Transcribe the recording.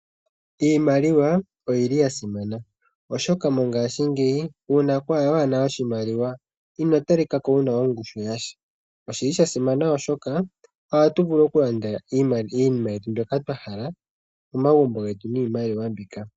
Iimaliwa oyili ya simana oshoka mongaashingeyi uuna waana oshimaliwa ino talika ko wuna ongushu yasha. Oshili sha simana oshoka ohatu vulu oku landa iinima yetu mbyoka twa hala momagumbo getu niimaliwa mbika.